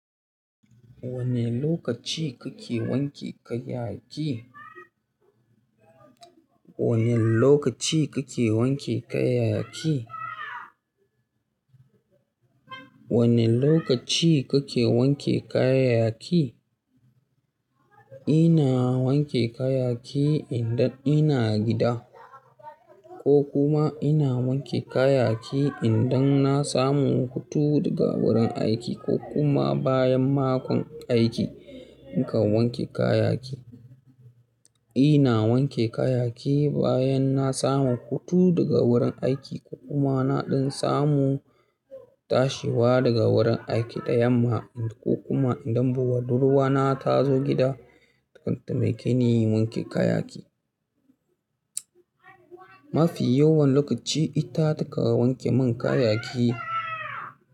Wane lokaci kake wanke kayanki? Wane lokaci kake wanke kayaki? Wane lokaci kake wanke kayaki? Ina wanke kayan aki idan ina gida, ko kuma ina wanke kayan aiki idan na samu hutu daga wurin aiki ko kuma bayan makon aiki in kan wanke kayan aiki. Ina wanke kayan aiki bayan na samu hutu daga wurin aiki ko kuma naɗin samu tashiwa daga wurin aiki da yamma ko kuma idan budurwa na ta zo gida, takan taimake ni wanke kaya aiki. Mafi yawan lokaci ita ta ka wanke mun kayan aiki.